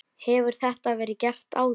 Hefur þetta verið gert áður?